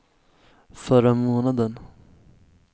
förra månaden